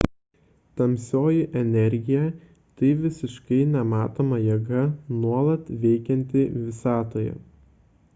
tamsioji energija – tai visiškai nematoma jėga nuolat veikianti visatoje